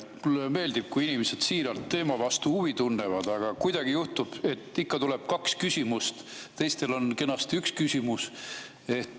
Mulle meeldib, kui inimesed siiralt teema vastu huvi tunnevad, aga kuidagi juhtub, et ikka tuleb kaks küsimust, kuid teistel on kenasti üks küsimus.